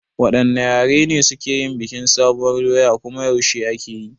Waɗanne yare ne suke yin bikin sabuwar doya kuma yaushe ake yi?